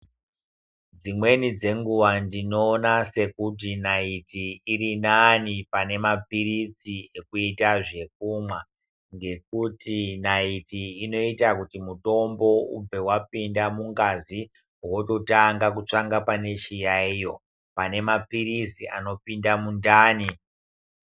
Dzimweni dzenguwa ndinoona sekuti nayiti iri nani pane mapiritsi ekuita zvekumwa ngekuti nayiti inoita kuti mutombo ubve wapinda mukati wototanga kutsvanga pane chiyaiyo, pane maphirizi anopinda mundani.